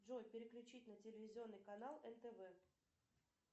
джой переключить на телевизионный канал нтв